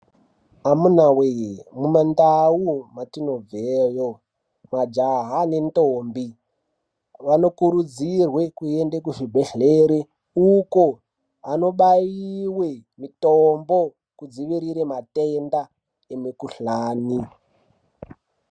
Amuna wee mumandau mwatinobveyo majaha nentombi vanokurudzirwe kuenda kuzvibhedhlera uko anobayiwa mitombo kudziwirira matenda emukhuhlani.